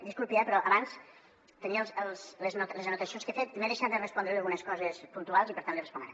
dis·culpi eh però abans tenia les anotacions que he fet i m’he deixat de respondre·li algunes coses puntuals i per tant li responc ara